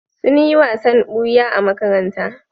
Sun yi wasan ɓuya a makaranta.